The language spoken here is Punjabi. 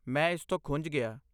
ਮੈਂ ਇਸਤੋਂ ਖੁੰਝ ਗਿਆ।